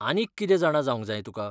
आनीक कितें जाणा जावंक जाय तुका?